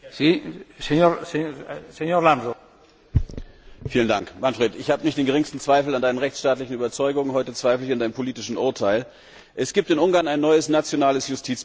Herr Präsident! Manfred, ich habe nicht den geringsten Zweifel an deinen rechtsstaatlichen Überzeugungen. Heute zweifle ich an deinem politischen Urteil. Es gibt in Ungarn ein neues nationales Justizbüro.